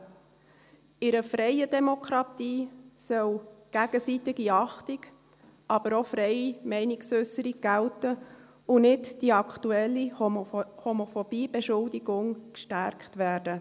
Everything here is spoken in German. In einer freien Demokratie soll gegenseitige Achtung, aber auch freie Meinungsäusserung gelten, und es soll nicht die aktuelle «Homophobiebeschuldigung» gestärkt werden.